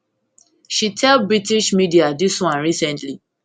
she tell british media dis one recently